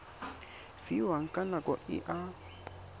fiwang ka nako e a